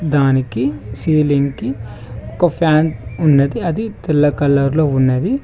దానికి సెల్లింగ్ కి ఒక ఫ్యాన్ ఉన్నది అది తెల్ల కలర్ తో ఉన్నది.